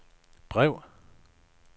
brev